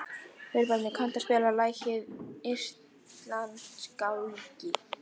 Þórbjarni, kanntu að spila lagið „Íslandsgálgi“?